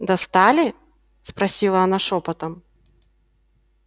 достали спросила она шёпотом